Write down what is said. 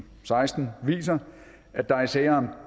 seksten viser at der i sager